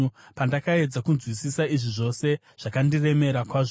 Pandakaedza kunzwisisa izvi zvose, zvakandiremera kwazvo